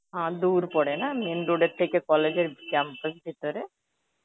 হা দূর পরে না main road এর থেকে college এর campus ভেতরে?